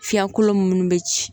Fiɲɛkolo munnu be ci